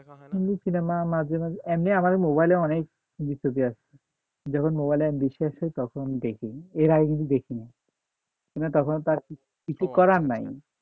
Hindi cinema না মাঝে মাঝে এমনি আমাদের মোবাইলে অনেক যখন মোবাইলে MB বেশি থাকে তখন দেখি এর আগে কিছু দেখিনাই তখনও তো আরকি কিছু করার নাই।